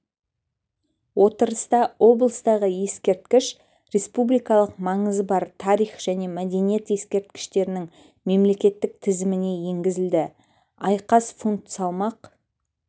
отырыста облыстағы ескерткіш республикалық маңызы бар тарих және мәдениет ескерткіштерінің мемлекеттік тізіміне енгізілді айқас фунт салмақ